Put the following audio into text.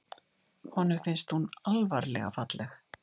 Honum fannst hún alvarlega falleg.